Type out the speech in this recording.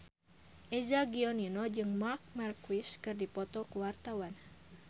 Eza Gionino jeung Marc Marquez keur dipoto ku wartawan